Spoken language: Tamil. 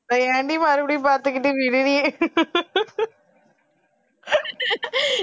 அத ஏன்டி மறுபடியும் பாத்துக்கிட்டு விடுடி